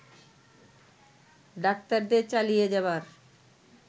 ডাক্তারদের চালিয়ে যাবার